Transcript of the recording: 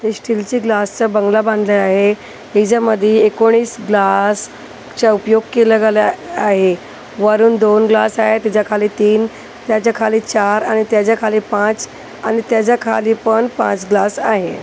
ते स्टीलच्या ग्लासचा बंगला बांधला आहे हिच्या मधी एकोणीस ग्लास चा उपयोग केला गेला आहे वरून दोन ग्लास आहे त्याच्याखाली तीन त्याच्या खाली चार आणि त्याच्या खाली पाच आणि त्याच्या खाली पण पाच ग्लास आहे.